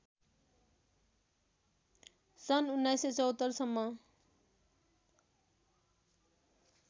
सन् १९७४ सम्म